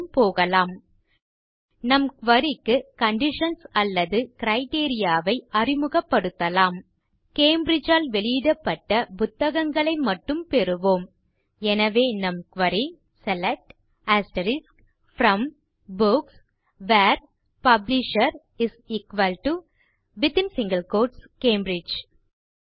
மேலும் போகலாம் நம் குரி க்கு கண்டிஷன்ஸ் அல்லது கிரைட்டீரியா ஐ அறிமுகப்படுத்தலாம் கேம்பிரிட்ஜ் ஆல் வெளியிடப்பட்ட புத்தகங்களை மட்டும் பெறுவோம் எனவே நம் query select from books where publisher Cambridge